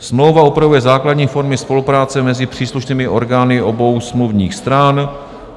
Smlouva upravuje základní formy spolupráce mezi příslušnými orgány obou smluvních stran.